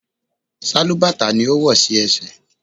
Sálúbàtà ni ó wò sí ẹsẹ̀.